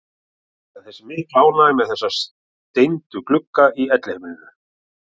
En það er mikil ánægja með þessa steindu glugga í Elliheimilinu.